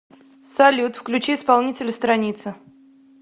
салют включи исполнителя страница